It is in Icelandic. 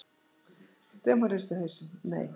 Stefán hristi hausinn: Nei.